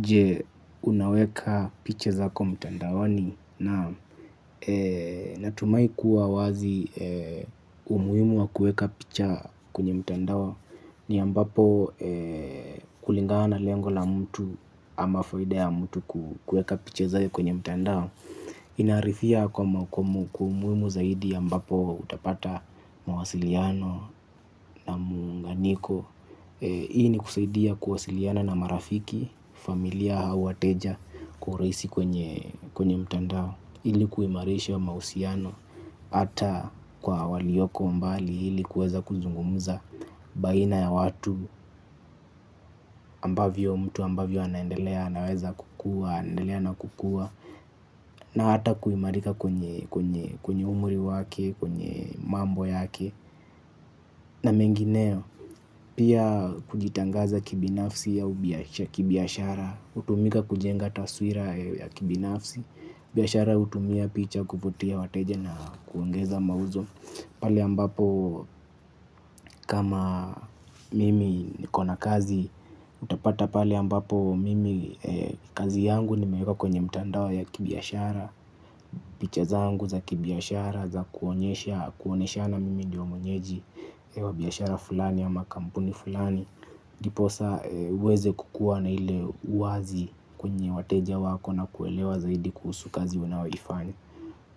Je unaweka picha zako mtandaoni na natumai kuwa wazi umuimu wa kuweka picha kwenye mtandao ni ambapo kulingana lengo la mtu ama faida ya mtu kuweka piche zake kwenye mtandao. Ina arifia kwa mwakumu kwa umuimu zaidi ambapo utapata mawasiliano na muunganiko. Hii ni kusaidia kuwasiliana na marafiki, familia hau wateja kureisi kwenye mtandao ili kuimarisha mausiano, ata kwa walioko mbali ili kuweza kuzungumuza baina ya watu ambavyo mtu ambavyo anaendelea, anaweza kukua, anaendelea na kukua. Na ata kuimarika kwenye umri wake, kwenye mambo yake. Na mengineo, pia kujitangaza kibinafsi au biya kibiashara. Utumika kujenga taswira ya kibifsi biashara utumia picha kuvutia wateja na kuongeza mauzo. Pali ambapo kama mimi niko na kazi. Utapata pale ambapo mimi kazi yangu nimeweka kwenye mtandao ya kibiashara. Picha zangu za kibiashara za kuoneshana mimi ndio mwenyeji wa biashara fulani ama kampuni fulani. Diposa uweze kukua na ile uwazi kwenye wateja wako na kuelewa zaidi kuhusu kazi unaoifanya.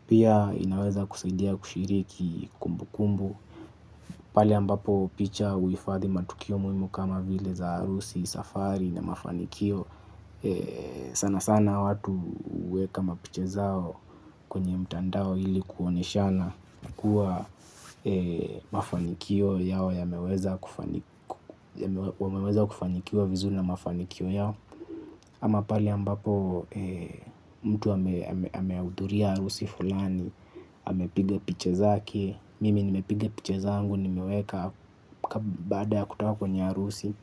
Pia inaweza kusaidia kushiriki kumbu kumbu. Pale ambapo picha uifadhi matukio muhimu kama vile za harusi, safari na mafanikio. Sana sana watu huweka mapicha zao kwenye mtandao ili kuoneshana kuwa mafanikio yao wameweza kufanikiwa vizuri na mafanikio yao. Ama pale ambapo mtu ameuduria harusi fulani amepige picha zake. Mimi nimepiga picha zangu nimeweka baada ya kutoka kwenye arusi.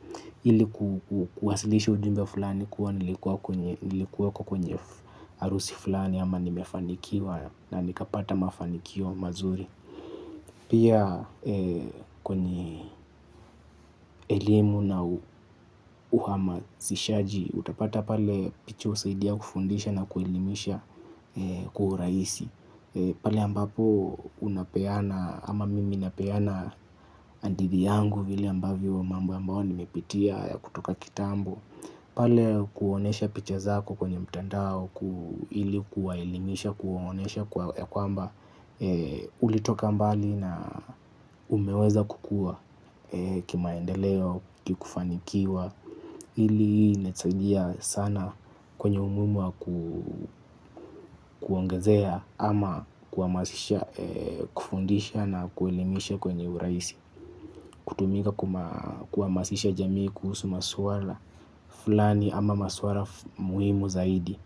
Hili kuwasilishi ujumbe fulani kuwa nilikuwa kwenye arusi fulani ama nimefanikiwa na nikapata mafanikio mazuri. Pia kwenye elimu na uhamasishaji utapata pale picha usaidia kufundisha na kuelimisha kwa uraisi. Pale ambapo unapeana ama mimi napeana andidhi yangu vile ambavyo a mambo ambao nimepitia ya kutoka kitambo. Pale kuonesha picha zako kwenye mtandao ili kuwaelimisha kuonesha ya kwamba ulitoka mbali na umeweza kukua kimaendeleo kikufanikiwa ili inatusadia sana kwenye umuhimu wa kuongezea ama kuamasisha kufundisha na kuelimisha kwenye uraisi. Kutumika kuamasisha jamii kuhusu maswala fulani ama maswala muhimu zaidi.